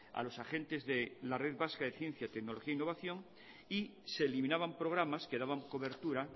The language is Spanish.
a los agentes de la red vasca de ciencia tecnología e innovación y se eliminaban programas que daban cobertura a